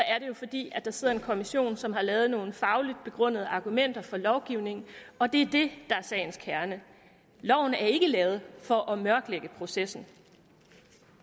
er det jo fordi der sidder en kommission som har lavet nogle fagligt begrundede argumenter for lovgivningen og det er det der er sagens kerne loven er ikke lavet for at mørklægge processen